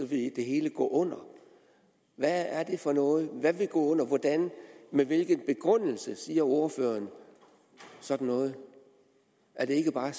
det hele gå under hvad er det for noget hvad vil gå under og hvordan med hvilken begrundelse siger ordføreren sådan noget er det ikke bare